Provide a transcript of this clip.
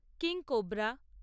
king cobra